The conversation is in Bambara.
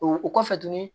O o kɔfɛ tuguni